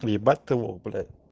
въебать ты лох блять